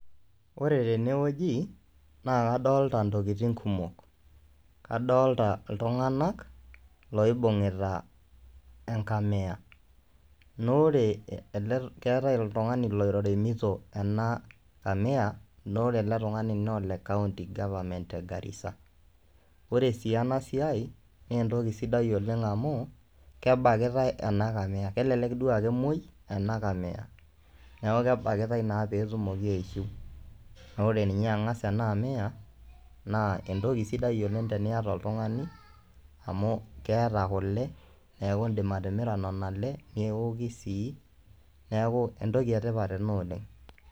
Koree teneee ojii naa kadolitaa ntokitin kumok, kadolitaa ltunganak loibungitaa ee nkamia, naa oree elee keatai oo ltunganii loremitoo anaa kamia naa ore alee tunganii naa le county goverment ee garisa. koree sii anaa siai naa ntokii sidai oleng amuu kebakitai anaa kamia, kelelek duo naa kemwai anaa kamia naaku kebakitai naa potumokii aishiu. Naaku kore engas ninyee anaa amia naa entokii sidai oleng tiniataa oltunganii amu keataa kulee naaku endim atimiraa nenia kulee nooki sii naaku entokii ee tipat anaa oleng.